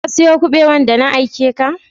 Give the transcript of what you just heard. Ka siya kubewan da na aike ka?